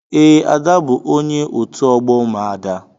Ee, Ada bu onye otu ogbo umuada.